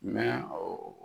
o